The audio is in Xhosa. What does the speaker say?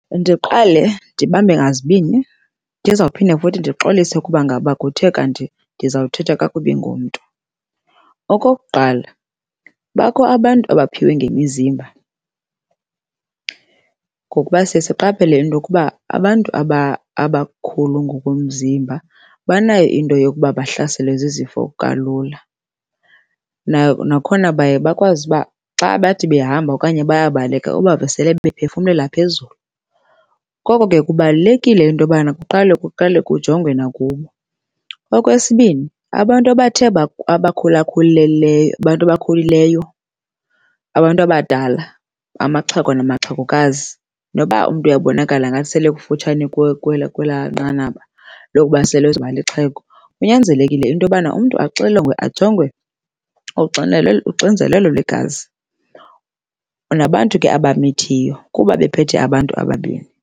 Ndiqale ndibambe ngazibini, ndizawuphinde futhi ndixolise ukuba ngaba kuthe kanti ndizawuthetha kakubi ngomntu. Okokuqala bakho abantu abaphiwe ngemizimba ngokuba siye siqaphele into yokuba abantu abakhulu ngokomzimba banayo into yokuba bahlaselwe zizifo kalula. Nakhona baye bakwazi ukuba xa bathi behamba okanye bayabaleka, ubave sebephefumlela phezulu koko ke kubalulekile into yobana kuqala kuqalwe kujongwe nakubo. Okwesibini abantu abathe abakhula abantu abakhulileleyo, abantu abadala, amaxhego namaxhegokazi, noba umntu uyabonakala ngathi sele ekufutshane kwelaa kwelaa nqanaba lokuba sele ezoba lixhego, kunyanzelekile into yobana umntu axilongwe ajongwe uxinzelelo lwegazi. Nabantu ke abamithiyo kuba bephethe abantu ababini.